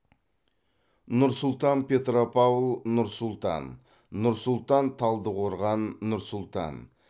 нұр сұлтан петропавл нұр сұлтан нұр сұлтан талдықорған нұр сұлтан